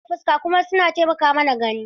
Idanu suna kan fuska kuma suna taimaka mana gani.